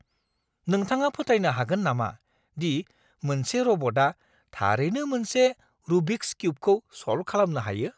नोंथाङा फोथायनो हागोन नामा दि मोनसे रबटआ थारैनो मोनसे रुबिक्स किउबखौ सल्भ खालामनो हायो?